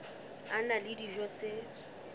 a na le dijo tse